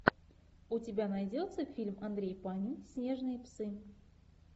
у тебя найдется фильм андрей панин снежные псы